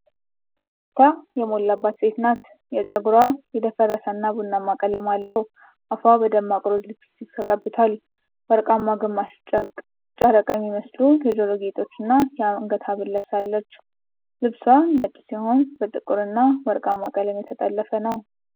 ፈገግታ የሞላባት ሴት ናት። ጸጉሯ የደፈረሰና ቡናማ ቀለም አለው። አፏ በደማቅ ሮዝ ሊፕስቲክ ተቀብቷል። ወርቃማ ግማሽ ጨረቃ የሚመስሉ የጆሮ ጌጦችና የአንገት ሐብል ለብሳለች። ልብሷ ነጭ ሲሆን በጥቁርና ወርቃማ ቀለም የተጠለፈ ነው።